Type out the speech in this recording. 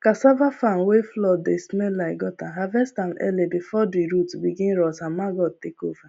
cassava farm wey flood dey smell like gutter harvest am early before the root begin rot and maggot take over